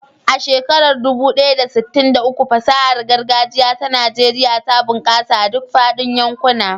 A shekarar dubu ɗaya da sittin da uku, fasahar gargajiya ta Najeriya ta bunƙasa a duk faɗin yankuna.